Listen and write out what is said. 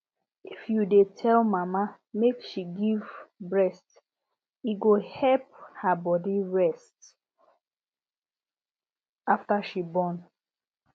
if you dey tell mama make she give breast e go help her body rest after she born